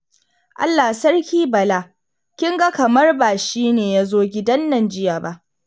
Allah sarki Bala, kinga kamar ba shine yazo gidannan jiya ba